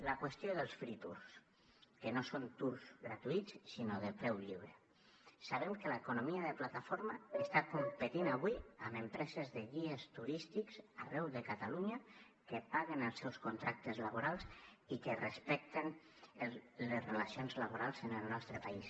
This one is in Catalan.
la qüestió dels free tours que no són toursbem que l’economia de plataforma està competint avui amb empreses de guies turístics arreu de catalunya que paguen els seus contractes laborals i que respecten les relacions laborals en el nostre país